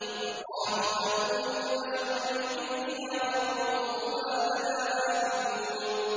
فَقَالُوا أَنُؤْمِنُ لِبَشَرَيْنِ مِثْلِنَا وَقَوْمُهُمَا لَنَا عَابِدُونَ